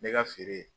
Ne ka feere